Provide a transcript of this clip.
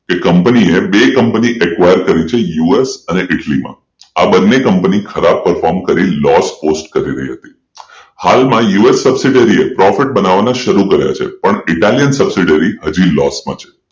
કે કંપનીએ બે કંપની acquire કર્યું છે યુએસ અને ઈટલી બન્ને કંપની ખરાબ પર્ફોમન્સ કરી લોસ પોસ્ટ કરી રહી હતી હાલમાં યુ. એસ subsidiary એ પ્રોડક્ટ બનાવવાના શરૂ કર્યા છેપણ ઇટાલિયન subsidiary હજુ પણ લોસ માં છે